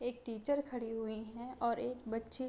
एक टीचर खड़ी हुई हैं और एक बच्ची --